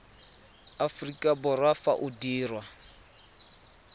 aforika borwa fa o dirwa